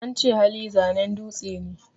Ance Hali, zanen dutse ne